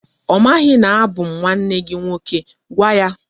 O maghi na abu m nwanne gi nwoke. Gwa ya!